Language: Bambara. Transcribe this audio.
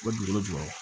U bɛ dugukolo jukɔrɔ